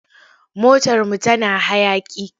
Motarmu tana hayaƙi.